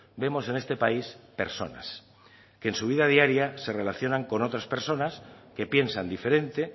vemos en este país personas que en su vida diaria se relacionan con otras personas que piensan diferente